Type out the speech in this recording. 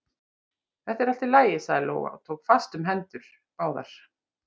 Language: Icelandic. Þetta er allt í lagi, sagði Lóa og tók fast um báðar hendur